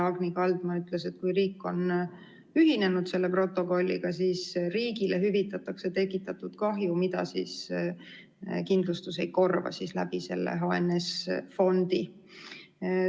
Agni Kaldma ütles, et kui riik on selle protokolliga ühinenud, siis riigile hüvitatakse tekitatud kahju, mida kindlustus ei korva, selle HNS‑fondi kaudu.